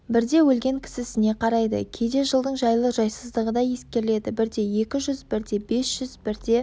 бірде өлген кісісіне қарайды кейде жылдың жайлы-жайсыздығы да ескеріледі бірде екі жүз бірде бес жүз бірде